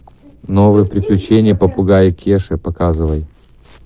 новые приключения попугая кеши показывай